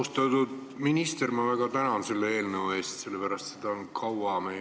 Austatud minister, ma väga tänan selle eelnõu eest, sellepärast et seda on meie merendusele kaua lubatud.